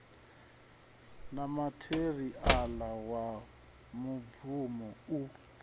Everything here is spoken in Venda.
na matheriala wa mibvumo u